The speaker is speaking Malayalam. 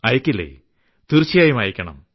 അയയ്ക്കില്ലേതീർച്ചയായും അയയ്ക്കണം